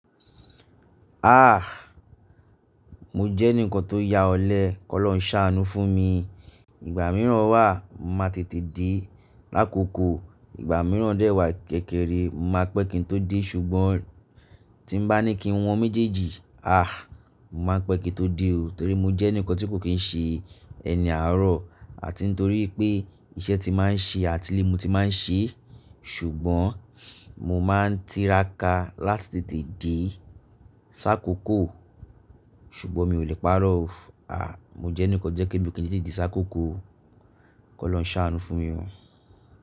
Ah! Mo jẹ́ ẹnìkan tó ya ọ̀lẹ, kọ́ lọ́ ń ṣàánú fún mi. Ìgbà mìíràn wà máa tètè dé lákòókò, ìgbà mìíràn dẹ́wàá kékeré, máa pẹ́ kí n tó dé ṣùgbọ́n tí mo bá ní kí wọ́n méjèèjì, ah! Mo máa ń pẹ́ kí n tó dé o. Torí mo jẹ́ ẹnìkan tí kò kí ń ṣe ẹni àárọ̀ àti torí pé iṣẹ́ tí máa ń ṣe àti ilé mo tí máa ń ṣe. Ṣùgbọ́n mo máa ń tiraka láti tètè dé sáàkókò, ṣùgbọ́n mi ò lè parọ́ o. Ah! Mo jẹ́ ẹnìkan tó jẹ́ pé mi ò kì í lè tètè dé sáàkókò, kò lọ́ ń ṣàánú fún mi o.